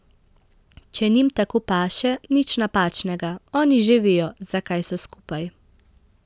Če njim tako paše, nič napačnega, oni že vejo, zakaj so skupaj...